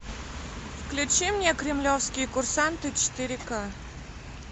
включи мне кремлевские курсанты четыре ка